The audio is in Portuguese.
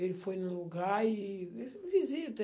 Ele foi no lugar e disse, visita.